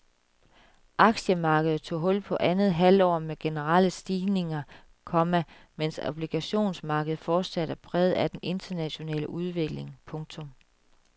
Aktiemarkedet tog hul på andet halvår med generelle stigninger, komma mens obligationsmarkedet fortsat er præget af den internationale udvikling. punktum